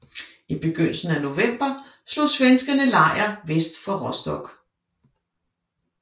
I begyndelsen af november slog svenskerne lejr vest for Rostock